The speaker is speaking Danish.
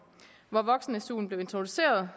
hvor voksen suen blev introduceret